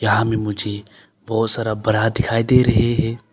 मुझे बहुत सारा ब्रा दिखाई दे रहे है।